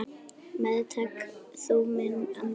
Meðtak þú minn anda.